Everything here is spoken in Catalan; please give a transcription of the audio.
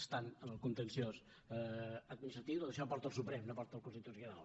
està en el contenciós administratiu tot això ho porta el suprem no ho porta el constitucional